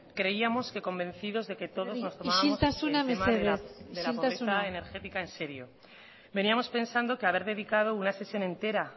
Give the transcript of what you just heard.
creíamos que convencidos de que todos nos tomábamos el tema de la pobreza energética en serio isiltasuna mesedez isiltasuna veníamos pensando que haber dedicado una sesión entera